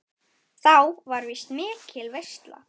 Þá var víst mikil veisla.